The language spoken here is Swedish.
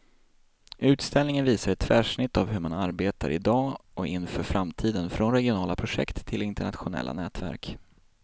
Utställningen visar ett tvärsnitt av hur man arbetar i dag och inför framtiden, från regionala projekt till internationella nätverk.